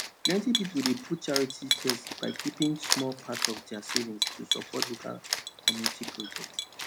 plenty people dey put charity first by keeping small part of their savings to support local community projects